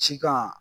Sitan